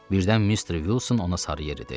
Birdən Mister Wilson ona sarı yeridi.